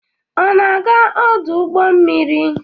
Ọ na-aga ọdụ ụgbọ mmiri?